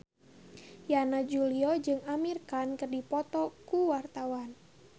Yana Julio jeung Amir Khan keur dipoto ku wartawan